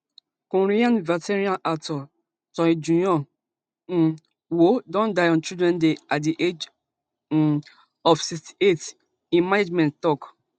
korean veteran actor choi jeong um woo don die on children day at di age um of sixty-eight im management tok